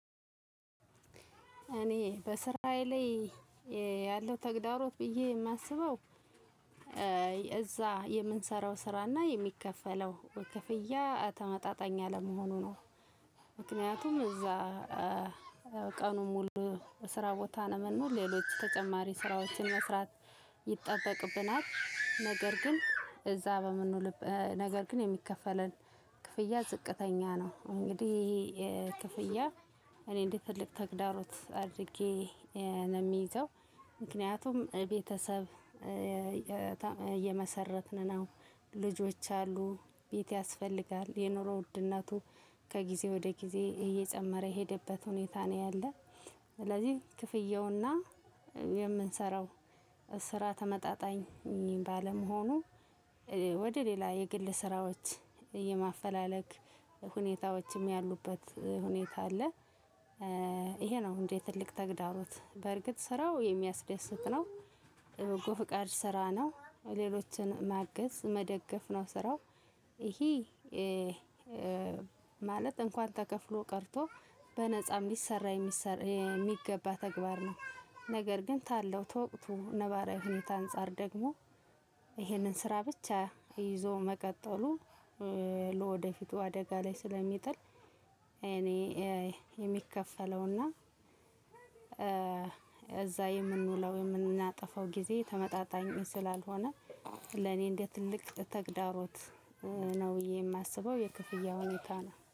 እኔ በስራዬ ላይ ያለው ተግዳሮት ብዬ የማስበው እዛ የምንሰራው ስራ እና የሚከፈለው ክፍያ ተመጣጣኝ አለመሆኑ ነው። ምክንያቱም እዛ ቀኑን ሙሉ በስራ ቦታ ለመኖር ሌሎች ተጨማሪ ስራዎችን መስራት ይጠበቅብናል ነገር ግን እዛ በምንውል ነገር ግን የሚከፈለን ክፍያ ዝቅተኛ ነው። እንግዲህ ክፍያ እኔ እንደ ትልቅ ተግዳሮት አድርጌ ነው የሚይዘው። ምክንያቱም ቤተሰብ የመሰረትን ነው ልጆች አሉ ቤት ያስፈልጋል የኑሮ ውድነቱ ከጊዜ ወደ ጊዜ እየጨመረ የሄደበት ሁኔታ ነው ያለው። ስለዚህ ክፍያው እና የምንሰራው ስራ ተመጣጣኝ ባለመሆኑ ወደ ሌላ የግል ስራዎች የማፈላለግ ሁኔታዎችም ያሉበት ሁኔታ አለ። ይሄ ነው እንግድህ ትልቅ ተግዳሮት በርግጥ ስራው የሚያስደስት ነው። በጎ ፍቃድ ስራ ነው ሌሎችን ማገዝ መደገፍ ነው ስራው። ይሄ ማለት እንኳን ተከፍሎ ቀርቶ በነፃ የሚሰራ የሚሰራ የሚገባ ተግባር ነው። ነገር ግን ታለው ተወቅቱ ነባራዊ ሁኔታ አንፃር ደግሞ ይሄንን ስራ ብቻ ይዞ መቀጠሉ ለወደፊቱ አደጋ ለይ ስለሚጥል። እኔ የሚከፈለው እና እዛ የምንውለው እና የማጠፈው ግዜ ተመጣጣኝ ስላልሆነ ለኔ እንደ ትልቅ ተግዳሮት ነው ብዬ ነው የማስበው የክፍያ ሁኔታ ነው